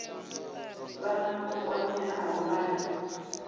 vhana vho kwameaho vha re